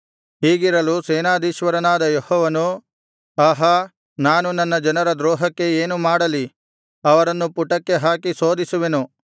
ಹೀಗಿರಲು ಸೇನಾಧೀಶ್ವರನಾದ ಯೆಹೋವನು ಆಹಾ ನಾನು ನನ್ನ ಜನರ ದ್ರೋಹಕ್ಕೆ ಏನು ಮಾಡಲಿ ಅವರನ್ನು ಪುಟಕ್ಕೆ ಹಾಕಿ ಶೋಧಿಸುವೆನು